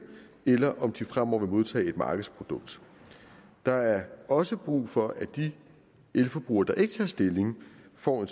eller om de fremover vil modtage et markedsprodukt der er også brug for at de elforbrugere der ikke tager stilling får